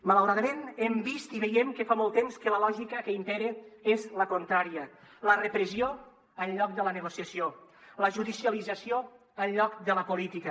malauradament hem vist i veiem que fa molt temps que la lògica que impera és la contrària la repressió en lloc de la negociació la judicialització en lloc de la política